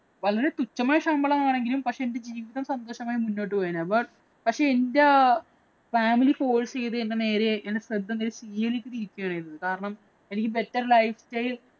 വളരെ തുച്ഛമായ ശമ്പളം ആണെങ്കിലും പക്ഷേ എന്‍റെ ജീവിതം സന്തോഷകരമായി മുന്നോട്ടു പോയേനെ. പക്ഷേ എന്‍റെ family force ചെയ്ത് നേരെയായി എന്‍റെ ശ്രദ്ധ കാരണം എനിക്ക് better life style